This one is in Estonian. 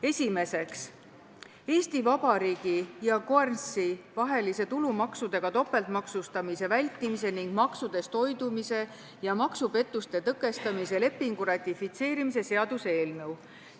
Esimeseks, Eesti Vabariigi ja Guernsey vahelise tulumaksudega topeltmaksustamise vältimise ning maksudest hoidumise ja maksupettuste tõkestamise lepingu ratifitseerimise seaduse eelnõu.